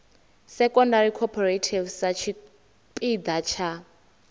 secondary cooperative sa tshipiḓa tsha